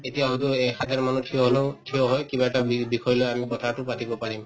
এতিয়াওতো এই সাধাৰণ মানুহ থিয় হলেও থিয় হৈ কিবা এটা বিৰ বিষয় লৈ আমি কথাটো পাতিব পাৰিম